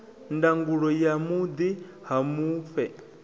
ndangulo ya vhuḓi ha mufhe